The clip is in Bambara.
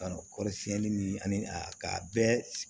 Kan'o kɔrɔ siɲɛni ni ani k'a bɛɛ